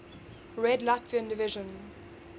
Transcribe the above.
red latvian division